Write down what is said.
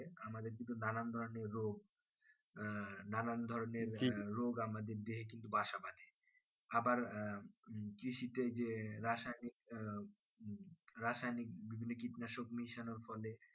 নানান ধরণের রোগ আহ নানান ধরণের রোগ আমাদের দেহে কিন্তু বাসা বাধে আবার আহ কৃষিতে যে রাসায়নিক আহ রাসায়নিক বিভিন্ন কীটনাশক মেশানোর ফলে